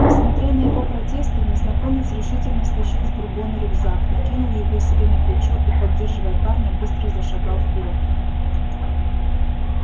несмотря на его протесты незнакомец решительно стащил с бурбона рюкзак накинул его себе на плечо и поддерживая парня быстро зашагал вперёд